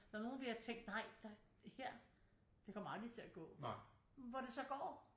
Der er nogle de har tænkt nej ej her det kommer aldrig til at gå hvor det så går